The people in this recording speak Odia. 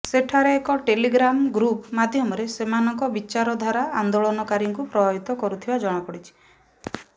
ସେଠାରେ ଏକ ଟ୍ରେଲିଗ୍ରାମ ଗ୍ରୁପ ମାଧ୍ୟମରେ ସେମାନଙ୍କ ବିଚାରଧାରା ଆନ୍ଦୋଳନକାରୀଙ୍କୁ ପ୍ରଭାବିତ କରୁଥିବା ଜଣାପଡିଛି